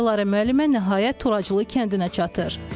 Dilarə müəllimə nəhayət Turaclı kəndinə çatır.